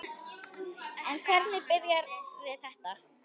En hvernig byrjaði þetta?